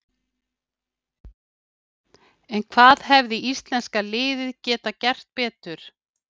En hvað hefði íslenska liðið geta gert betur?